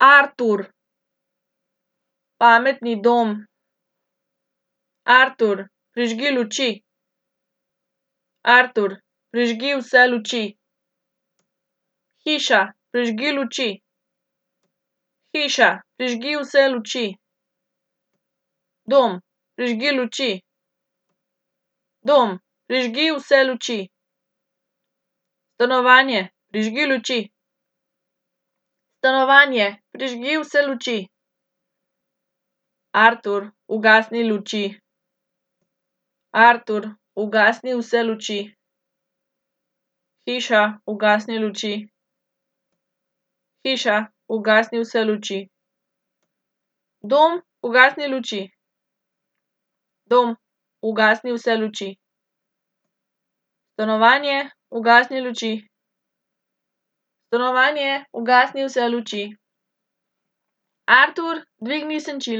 Artur. Pametni dom. Artur, prižgi luči. Artur, prižgi vse luči. Hiša, prižgi luči. Hiša, prižgi vse luči. Dom, prižgi luči. Dom, prižgi vse luči. Stanovanje, prižgi luči. Stanovanje, prižgi vse luči. Artur, ugasni luči. Artur, ugasni vse luči.